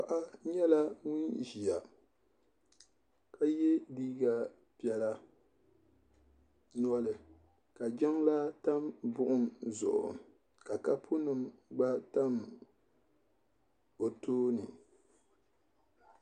paɣa nyɛla ŋun ʒiya ka ye liiga piɛla noli ka jiŋlaa tam buɣim zuɣu ka kaapunima gba tam o tooni